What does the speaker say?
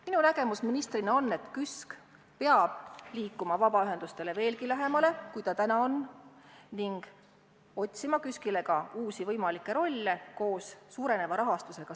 Minu nägemus ministrina on, et KÜSK peab liikuma vabaühendustele veelgi lähemale, kui ta täna on, ning peame otsima KÜSK-ile uusi võimalikke rolle koos suureneva rahastusega.